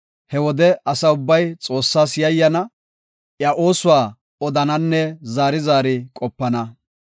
He wode asa ubbay Xoossas yayyana; iya oosuwa odananne zaari zaari qopana.